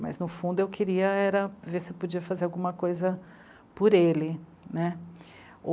Mas, no fundo, eu queria era ver se eu podia fazer alguma coisa por ele, né.